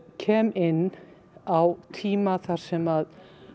kem inn á tíma þar sem